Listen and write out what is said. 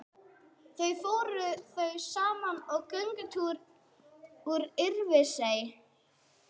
Þau fóru þá saman í göngutúr út í Örfirisey.